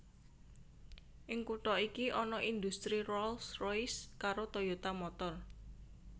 Ing kutha iki ana indhustri Rolls Royce karo Toyota Motor